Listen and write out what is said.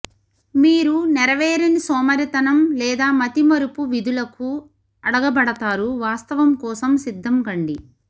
మీరు నెరవేరని సోమరితనం లేదా మతిమరపు విధులకు అడగబడతారు వాస్తవం కోసం సిద్ధం కండి